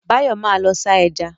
Báyọ̀ ma lọ sá eja